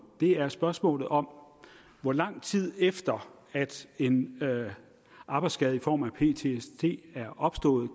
det er spørgsmålet om hvor lang tid efter at en arbejdsskade i form af ptsd er opstået